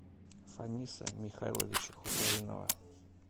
фаниса михайловича хусаинова